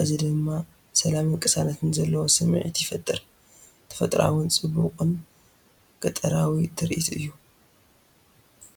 እዚ ድማ ሰላምን ቅሳነትን ዘለዎ ስምዒት ይፈጥር! ተፈጥሮኣውን ጽቡቕን ገጠራዊ ትርኢት እዩ።